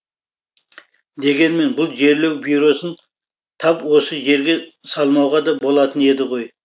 дегенмен бұл жерлеу бюросын тап осы жерге салмауға да болатын еді ғой